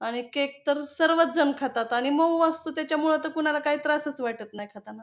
आणि केक तर सर्वचजण खातात आणि मऊ असतो त्याच्यामुळे तर कोणाला काही त्रासच वाटत नाही खाताना.